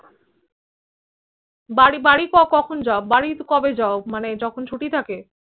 বাড়ি বাড়ি কখন যাও বাড়ি কবে যাও যখন ছুটি থাকে